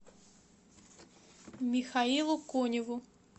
михаилу коневу